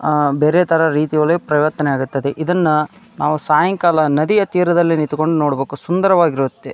ಬೇರೆ ತರ ರೀತಿಯಲ್ಲಿ ಪರಿವರ್ತನೆ ಆಗುತ್ತದೆ ಇದನ್ನ ನಾವು ಸಾಯಂಕಾಲ ನದಿಯ ತೀರದಲ್ಲಿ ನಿಂತ್ಕೊಂಡು ನೋಡಬೇಕು ಸುಂದರವಾಗಿರುತ್ತೆ.